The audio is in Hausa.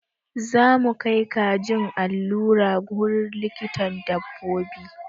Zamu kai kajin allura wurin likitan dabbobi.